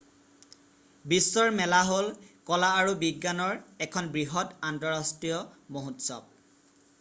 বিশ্বৰ মেলা বহুলভাৱে কোৱা হয় প্ৰদৰ্শনী অথবা চমুকৈ এক্সপ' হ'ল কলা আৰু বিজ্ঞানৰ এখন বৃহৎ আন্তঃৰাষ্ট্ৰীয় মহোৎসৱ।